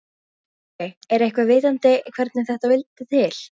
Sölvi: Er eitthvað vitað hvernig þetta vildi til?